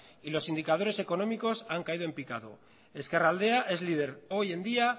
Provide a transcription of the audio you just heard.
y los indicadores económicos han caído en picado ezkerraldea es líder hoy en día